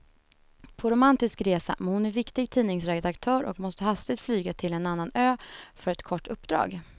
På romantisk resa, men hon är viktig tidningsredaktör och måste hastigt flyga till en annan ö för ett kort uppdrag.